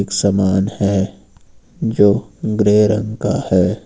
सामान है जो ग्रे रंग का है।